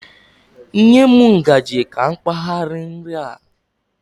Nye m ngaji ka m kpagha nri a